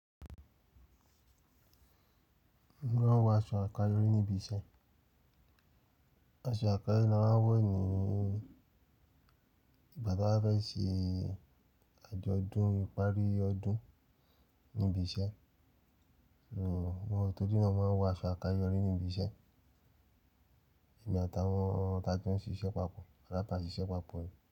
Wọ́n máa ń wọ aṣọ àkáyọrí níbi iṣẹ́. Aṣọ àkáyọrí ni a máa ń wọ nìi ígbà tí a bá fẹ́ ṣe àjọ̀dún ìparí ọdún níbi iṣẹ́. Wọ́n tó jẹ́ náà máa ń wọ aṣọ àkáyọrí níbi iṣẹ́ èmi àtàwọn tà jo n ṣe ìṣe pápọ̀ boya ta n se ìṣe pápọ̀